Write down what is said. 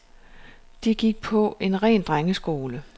De gik på en ren drengeskole.